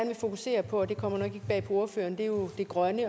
vil fokusere på og det kommer nok ikke bag på ordføreren er jo det grønne